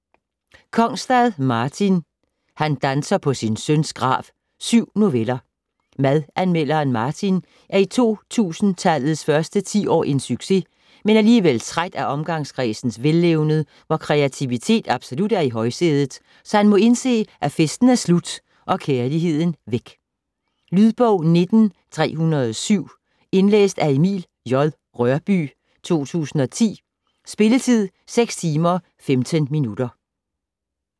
Kongstad, Martin: Han danser på sin søns grav: syv noveller Madanmelderen Martin er i 2000-tallets første ti-år en succes, men alligevel træt af omgangskredsens vellevned, hvor kreativitet absolut er i højsædet, så han må indse, at festen er slut og kærligheden væk. Lydbog 19307 Indlæst af Emil J. Rørbye, 2010. Spilletid: 6 timer, 15 minutter.